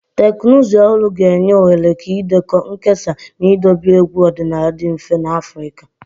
Teknụzụ ọhụrụ ga-enye ohere ka ịdekọ, nkesa, na idobe egwu ọdịnala dị mfe n'Afrika.